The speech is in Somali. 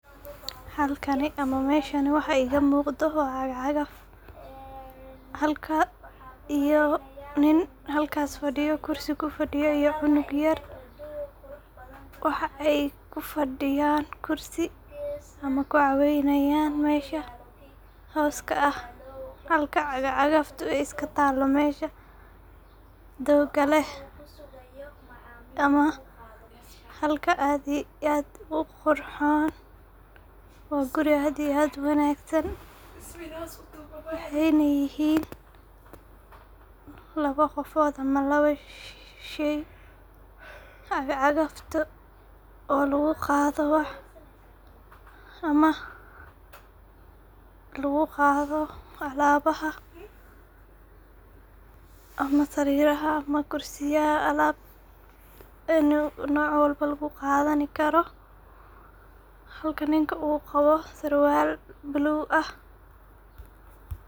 Halkani ama meshani waxa iga muqdo waa cagacagaf. Halka iyo nin mesha fadiyo oo kursi kufaidiyo iyo cunug yar waxa ay kufadiyan kursi ama kucaweynayan mesha hoska ah, halka cagacagafku mesha ay iska talo mesha doga leh ama halka aad iyo aad u qurxon .Waa guri aad iyo aad u wanagsan waxayna yihin laba qofod ama laba shey cagacagaftu oo lagu qado wax ama lagu qado alabaha ama kursiyaha ama alab ayu noc walba lagu qadani karo halka ninka u qawo sarwal bulug ah .